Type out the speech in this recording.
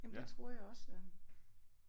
Jamen det tror jeg også ja